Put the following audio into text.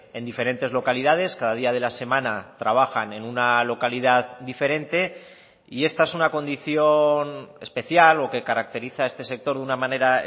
en diferentes localidades cada día de la semana trabajan en una localidad diferente y esta es una condición especial o que caracteriza a este sector de una manera